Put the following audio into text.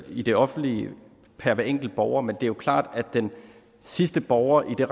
i det offentlige per hver enkelt borger men det er jo klart at den sidste borger i det